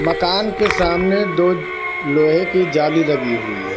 मकान के सामने दो लोहे की जाली लगी हुई है।